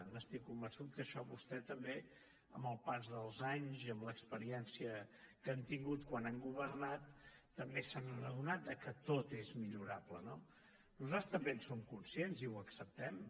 n’estic convençut que això vostè també amb el pas dels anys i amb l’experiència que han tingut quan han governat també se n’han adonat que tot és millorable no nosaltres també en som conscients i ho acceptem